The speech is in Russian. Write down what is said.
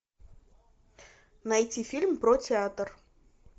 найти фильм про театр